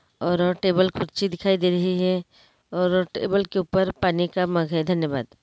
और टेबल कुर्सी दिखाई दे रही है और टेबल के ऊपर पानी का मग है धन्यवाद ।